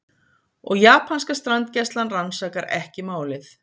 Og japanska strandgæslan rannsakar ekki málið